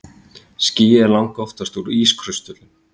Skýið er langoftast úr ískristöllum.